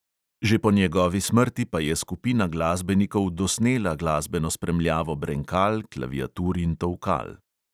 Že po njegovi smrti pa je skupina glasbenikov dosnela glasbeno spremljavo brenkal, klaviatur in tolkal.